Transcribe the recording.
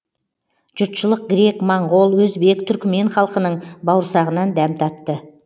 жұртшылық грек моңғол өзбек түркімен халқының бауырсағынан дәм татты